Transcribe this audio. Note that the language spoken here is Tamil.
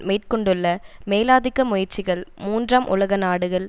மேற்கொண்டுள்ள மேலாதிக்க முயற்சிகள் மூன்றாம் உலக நாடுகள்